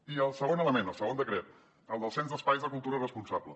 i el segon element el segon decret el del cens d’espais de cultura responsables